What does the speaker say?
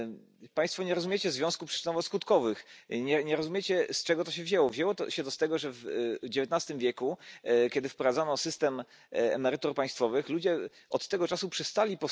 nivel que el coste de la vida y que asegure a todos nuestros pensionistas una vida digna. Y rechazar de plano cualquier mecanismo de privatización de nuestros sistemas de pensiones, que se han demostrado injustos e ineficaces.